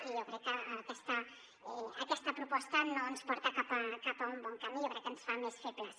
i jo crec que aquesta proposta no ens porta cap a un bon camí jo crec que ens fa més febles